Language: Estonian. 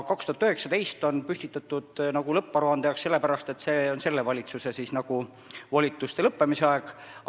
2019 on lõpparuande tähtaeg sellepärast, et see on selle valitsuse volituste lõppemise aeg.